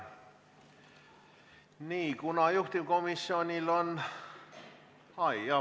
Nii, kuna juhtivkomisjonil on ...